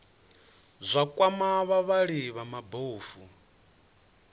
zwa kwama vhavhali vha mabofu